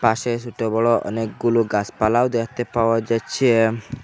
পাশে সোট বড়ো অনেকগুলো গাসপালাও দেখতে পাওয়া যাচ্ছে।